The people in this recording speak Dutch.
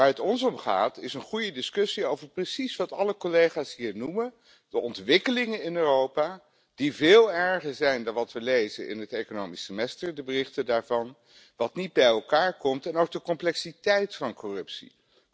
Waar het ons om gaat is een goede discussie over precies wat alle collega's hier noemen 'de ontwikkelingen in Europa', die veel erger zijn dan wat we lezen in het economisch semester, de berichten daarvan, wat niet bij elkaar komt en ook de complexiteit van corruptie.